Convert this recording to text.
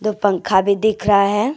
पंखा भी दिख रहा है।